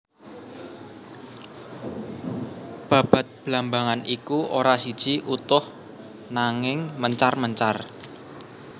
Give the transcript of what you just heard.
Babad blambangan iku ora siji utuh nangin mencar mencar